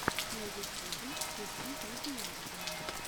на ютюбе включи видеообзоры